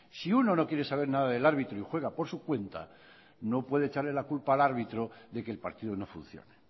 si uno no quiere saber nada del árbitro y juega por su cuenta no puede echarle la culpa al árbitro de que el partido no funciona